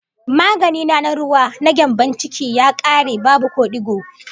Magani na na ruwa, na gyambon ciki, ya kare, babu ko digo